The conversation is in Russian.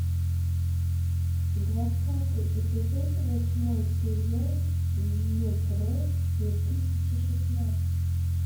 двадцатый эпизод восьмой сезон мегрэ две тысячи шестнадцать